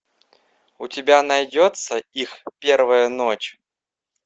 у тебя найдется их первая ночь